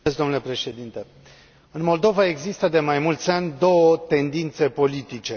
Domnule președinte, în Moldova există de mai mulți ani două tendințe politice.